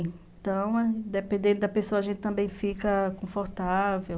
Então, dependendo da pessoa, a gente também fica confortável.